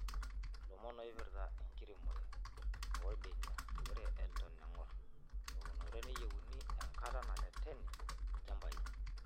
Ilomon oipirta enkiremore oorbenia:Ore eton eng'or eunore neyieuni enkata nareteni ilchambai.